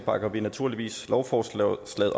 bakker vi naturligvis lovforslaget